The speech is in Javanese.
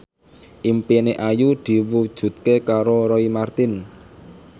impine Ayu diwujudke karo Roy Marten